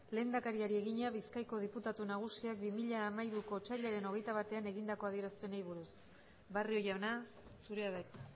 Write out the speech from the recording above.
lehendakariari egina bizkaiko diputatu nagusiak bi mila hamairuko otsailaren hogeita batean egindako adierazpenei buruz barrio jauna zurea da hitza